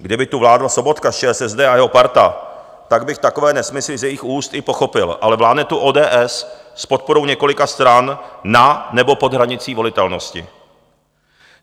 Kdyby tu vládl Sobotka z ČSSD a jeho parta, tak bych takové nesmysly z jejich úst i pochopil, ale vládne tu ODS s podporou několika stran na nebo pod hranicí volitelnosti.